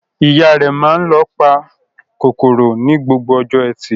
Ìyá rẹ̀ máa ń lo ìpakòkòrò ní gbogbo ọjọ́ ẹtì.